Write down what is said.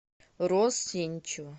роз сеничева